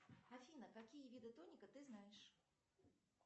афина какие виды тоника ты знаешь